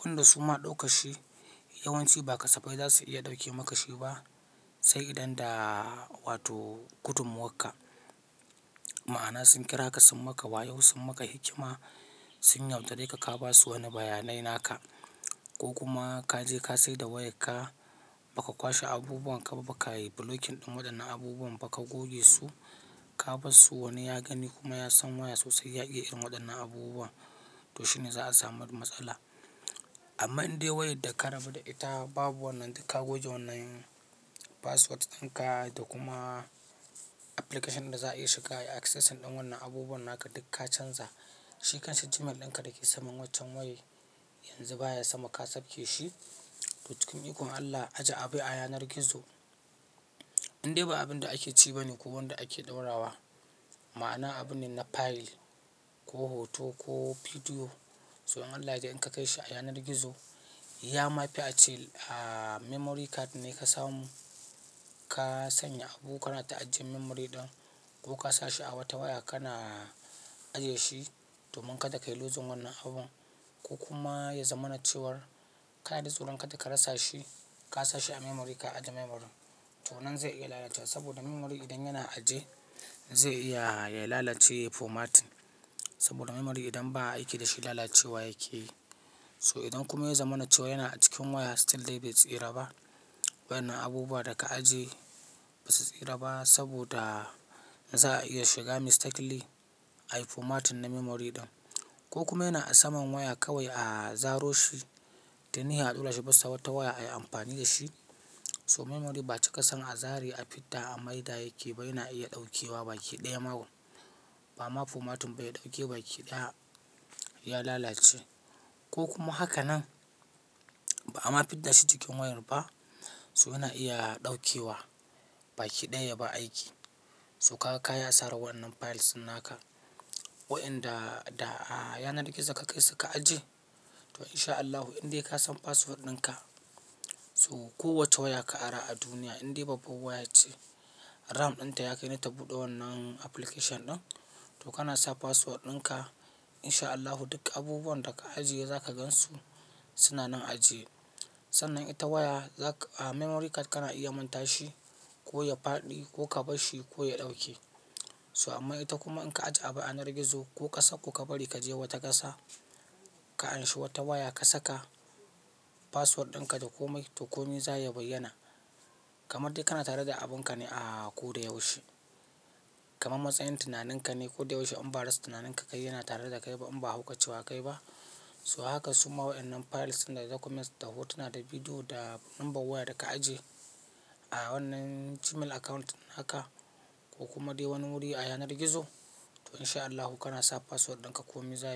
Wanda su ma ɗauka shi, yawanci ba kasaba za su iya ɗauke makashi ba. Sai idan da wato gudunmuwarka. Ma'ana sun kira ka sun maka wayo sun maka hikima, sun yaudare ka ka ba su wani bayanai naka. Ko kuma ka je ka sayar da wayarka, baka kwashe abubuwan ka ba, baka yi blocking ɗin waɗannan abubuwan ba ka goge su, ka barsu wani ya gani kuma ya san waya sosai ya iya irin waɗannan abubuwan, to shine za a samu matsala. Amma in dai wayar da ka rabu da ita babu wannan, duk ka goge wannan password ɗin ka da kuma application ɗin da za a iya shiga, access ɗin wannan abubuwan naka duk ka canza. Shi kanshi Gmail ɗin ka da ke saman waccan waya, yanzu baya sama ka sauke shi. To cikin ikon Allah, ajiye abu a yanar gizo. In dai ba abin da ake ci bane ko wanda ake ɗora wa. Ma'ana abu ne na file ko hoto ko bidiyo. To in Allah yaje in ka kai shi a yanar gizo, ya ma fi a ce a memory card ne ka samu. Ka sanya abu kana ta ajiye memory ɗin ko ka sa shi a wata waya kana ajiye shi domin kada ka yi loosing wannan abun. Ko kuma ya zamanace war ka na da tsoron ka da ka rasa shi, ka sa shi a memory ka ajiye memory. To wannan zai iya lalacewa saboda memory idan yana ajiye zai iya ya lalace, ya format. Saboda memory idan ba a aiki da shi lalacewa yake yi. So idan kuma ya zamanace wa yana a cikin waya still dai bai tsira ba. Wa'ennan abubuwa da ka ajiye ba su tsira ba saboda za a iya shiga mistakenly ayi formatting na memory ɗin. Ko kuma yana a saman waya kawai a zaro shi, tu ni a ɗora shi bisa wata waya ayi amfani da shi. So memory ba a ci ka son a zare a fidda a maida yake ba, yana iya ɗaukewa baki ɗaya makon. Ba ma formatting ba ya ɗauke baki ɗaya ya lalace. Ko kuma haka nan, ba'a ma fidda shi cikin wayar ba. So yana iya ɗaukewa baki ɗaya ya bar aiki. So kaga kayi asara wa'ennan files naka wa'enda da a yanar gizo ka kai su ka ajiye. To in sha Allahu indai ka san password ɗin ka. So kowace waya ka ara a duniya, indai babban waya ce RAM ɗin ta yake nata buɗe wannan application ɗin. To kana sa password ɗin ka, in sha Allahu duk abubuwan da ka ajiye za ka gansu suna nan ajiye. Sannan ita waya, memory card kana iya manta shi ko ya faɗi ko ka bar shi ko ya ɗauke. So amma ita kuma in ka ajiye abu a ya'anar gizo ko ƙasa ko ka bari ka je wata ƙasa, ka anshi wata waya ka saka password ɗin ka da komai to komi za ya bayyana. Kamar dai kana tare da abun ka ne a ko da yaushe. Kamar matsayin tunanin ka ne ko da yaushe in ba rasa tunanin ka kayi yana tare da kai ba in ba haukacewa kayi ba. So haka su ma wa'ennan files da documents da hotuna da bidiyo da lambar waya da ka ajiye a wannan Gmail account naka ko kuma dai wani wuri a ya'anar gizo. To in sha Allahu kana sa password ɗin ka komi zaya.